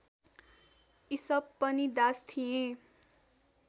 इसप पनि दास थिए